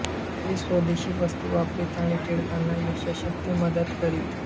ते स्वदेशी वस्तू वापरीत आणि टिळकांना यथाशक्ती मदत करीत